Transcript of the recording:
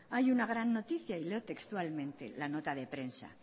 hay una gran noticia y leo textualmente la nota de prensa